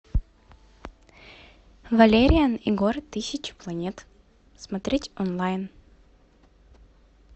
валериан и город тысячи планет смотреть онлайн